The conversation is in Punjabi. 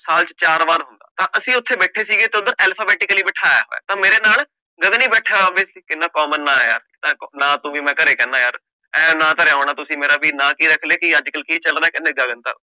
ਸਾਲ ਚ ਚਾਰ ਵਾਰ ਹੁੰਦਾ, ਤਾਂ ਅਸੀਂ ਉੱਥੇ ਬੈਠੇ ਸੀਗੇ ਤਾਂ ਉੱਧਰ alphabetically ਬਿਠਾਇਆ ਹੋਇਆ ਤਾਂ ਮੇਰੇ ਨਾਲ ਗਗਨ ਹੀ ਬੈਠਿਆ ਹੋਇਆ ਸੀ ਇੰਨਾ common ਨਾ ਆਇਆ ਤਾਂ ਨਾਂ ਤੋਂ ਵੀ ਮੈਂ ਘਰੇ ਕਹਿਨਾ ਯਾਰ ਇਹ ਨਾਂ ਧਰਿਆ ਹੋਣਾ ਤੁਸੀਂ ਮੇਰਾ ਵੀ ਨਾ ਕੀ ਰੱਖ ਲਏ ਕਿ ਅੱਜ ਕੱਲ੍ਹ ਕੀ ਚੱਲ ਰਿਹਾ ਕਹਿੰਦੇ ਗਗਨ ਸਰ